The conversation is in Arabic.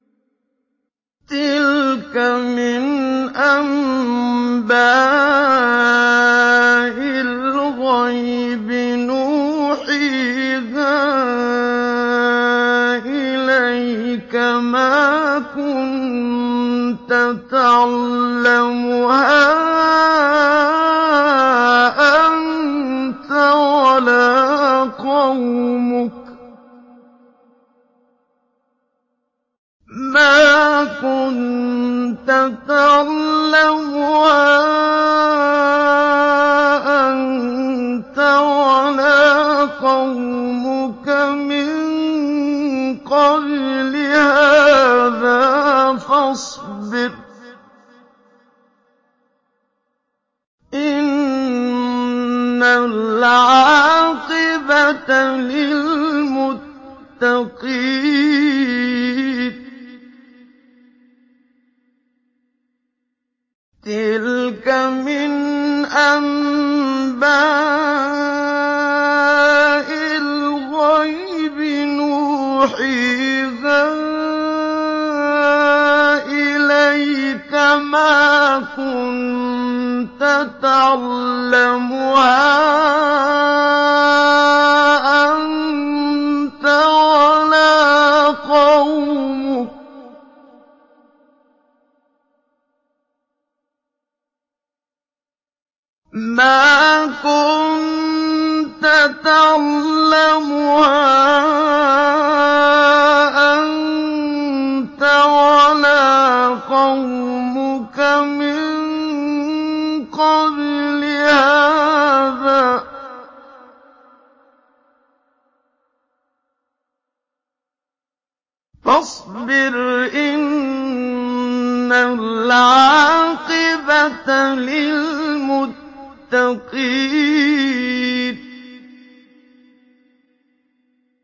تِلْكَ مِنْ أَنبَاءِ الْغَيْبِ نُوحِيهَا إِلَيْكَ ۖ مَا كُنتَ تَعْلَمُهَا أَنتَ وَلَا قَوْمُكَ مِن قَبْلِ هَٰذَا ۖ فَاصْبِرْ ۖ إِنَّ الْعَاقِبَةَ لِلْمُتَّقِينَ